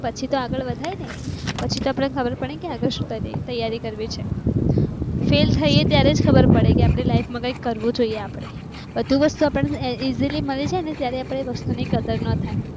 પછી તો આગળ વધાય ને પછી તો ખબર પડે કે આગળ તૈયારી કરવી છે. ફેલ થઈએ ત્યારે જ ખબર પડે કે આપડી લાઇફ માં કઈક કરવું જોઈએ. આપડે બધી વસ્તુ આપણે ઝીલી મળે છે ને જ્યારે આપણે વસ્તુ ની કદર ન થાય